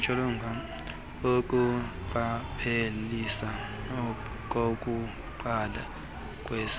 ukuqapheliseka kokuqala kweeseli